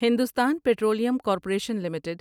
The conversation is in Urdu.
Hindustan petroleum corporation limited